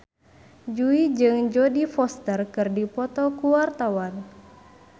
Jui jeung Jodie Foster keur dipoto ku wartawan